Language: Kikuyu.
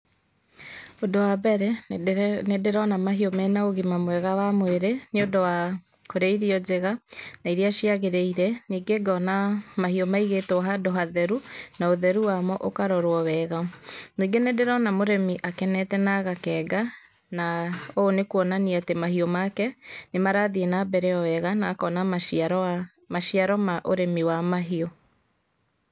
Ũndũ wa mbere nĩndĩrona mahĩũ mena ũgima mwega wa mwĩrĩ nĩundũ wa kũrĩa irio njega na iria ciagĩrĩire ningĩ ngona mahiũ maigĩtwo handũ hatheru na ũtheru wamo ũkarorwo wega. Ningĩ nĩndĩrona mũrimi akenete na agakenga na ũũ nĩ kũonania atĩ mahiũ make nĩmarathĩe nambere o wega na akona maciaro ma ũrĩmi wa mahiũ.